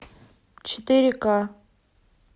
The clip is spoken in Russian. четыре ка